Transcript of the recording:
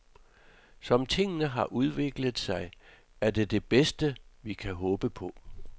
Som tingene har udviklet sig, er det det bedste, vi kan håbe på.